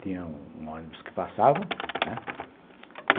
Tinha um ônibus que passava, né?